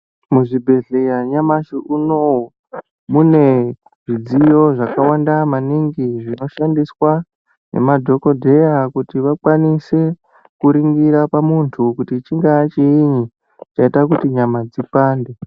Muzvibhedhleya nyamashi unowu mune zvidziyo zvakawanda maningi zvinoshandiswa ngemadhokodheya kuti vakwanise kuringira pamuntu kuti chingaa chiinyi chaita kuti nyama dzipande.